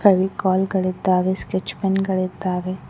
ಅಲ್ಲಿ ಕಾಲ್ಗಳಿದ್ದಾವೆ sketch pen ಗಳಿದ್ದಾವೆ.